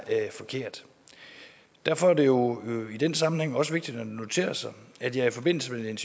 er forkert derfor er det jo i den sammenhæng også vigtigt at notere sig at jeg i forbindelse med et